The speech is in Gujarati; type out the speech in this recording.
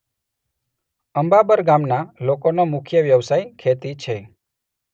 અંબાબર ગામના લોકોનો મુખ્ય વ્યવસાય ખેતી છે.